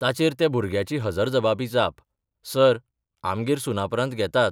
ताचेर त्या भुरग्याची हजरजबाबी जापः सर, आमगेर सुनापरान्त घेतात.